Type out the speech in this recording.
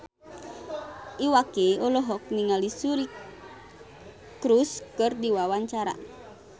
Iwa K olohok ningali Suri Cruise keur diwawancara